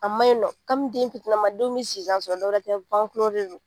A ma ɲi nɔ kabini den itinnama denw bɛ sisan sɔrɔ dɔwɛ tɛ dɛ de don.